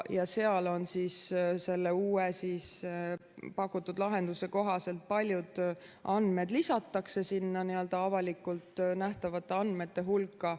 Selle uue pakutud lahenduse kohaselt paljud andmed lisatakse sinna avalikult nähtavate andmete hulka.